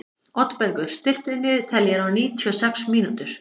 Oddbergur, stilltu niðurteljara á níutíu og sex mínútur.